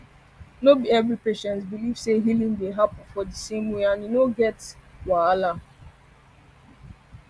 no be every patient believe say healing dey happen for di same way and e no get no get wahala